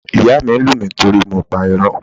Ìyá mi lù mí torí mo pa irọ́.